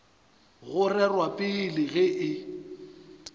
go rerwa pele ge e